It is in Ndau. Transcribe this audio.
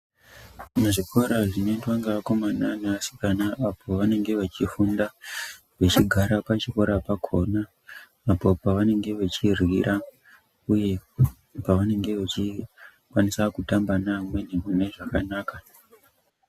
Muzvikora zvinoendwa neakomana neasikana pavanenge vechifunda vechigara pachikora pakona apo pavanenge vachiryira uye pavanenge vachikwanisa kutamba nevamweni mune zvakanaka.